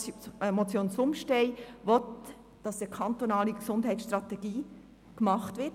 Die Motion Zumstein will, dass eine kantonale Gesundheitsstrategie verfasst wird.